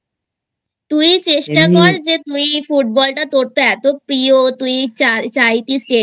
তুই চেষ্টা কর যে তুই Club Football টা তোর তো এতো প্রিয় তুই চাইতিস State